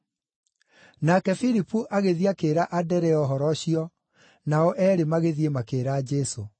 Nake Filipu agĩthiĩ akĩĩra Anderea ũhoro ũcio, nao eerĩ magĩthiĩ makĩĩra Jesũ.